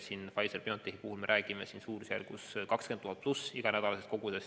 Pfizer/BioNtechi puhul me räägime vähemalt 20 000 doosist igal nädalal.